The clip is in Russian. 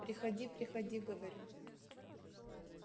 приходи приходи говорю